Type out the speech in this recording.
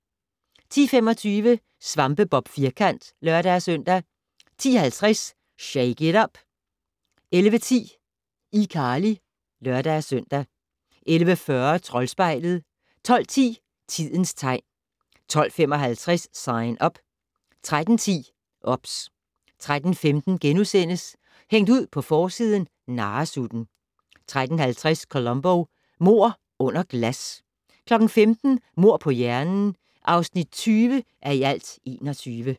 10:25: SvampeBob Firkant (lør-søn) 10:50: Shake it up! 11:10: iCarly (lør-søn) 11:40: Troldspejlet 12:10: Tidens tegn 12:55: Sign Up 13:10: OBS 13:15: Hængt ud på forsiden - narresutten * 13:50: Columbo: Mord under glas 15:00: Mord på hjernen (20:21)